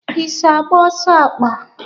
I so agba ọsọ akpa?